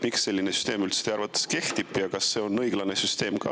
Miks selline süsteem teie arvates üldse kehtib ja kas see on õiglane?